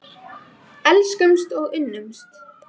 Þetta hefur þau áhrif að ís flýtur í vatni í stað þessa að sökkva.